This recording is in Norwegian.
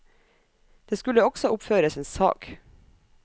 Det skulle også oppføres en sag.